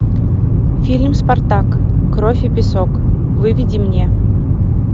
фильм спартак кровь и песок выведи мне